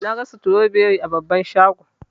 Naga stroberi a babban shago.